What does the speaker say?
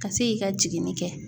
Ka se k'i ka jigini kɛ